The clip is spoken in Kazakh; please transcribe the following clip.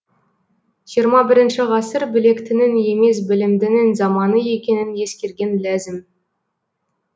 жиырма бірінші ғасыр білектінің емес білімдінің заманы екенін ескерген ләзім